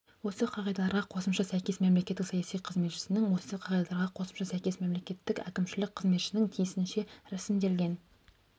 осы қағидаларға қосымшаға сәйкес мемлекеттік саяси қызметшінің осы қағидаларға қосымшаға сәйкес мемлекеттік әкімшілік қызметшінің тиісінше ресімделген